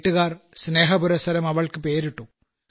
വീട്ടുകാർ സ്നേഹപുരസ്സരം അവൾക്ക് പേരിട്ടു